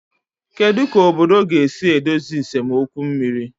Kedu ka obodo ga-esi edozi nsemokwu mmiri?